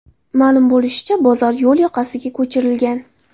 Ma’lum bo‘lishicha, bozor yo‘l yoqasiga ko‘chirilgan.